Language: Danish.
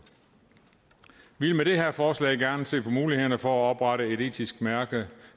vi vil med det her forslag gerne se på mulighederne for at oprette et etisk mærke